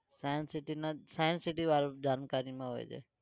science city ના જ science city વાળું જાણકારીમાં હોય છે.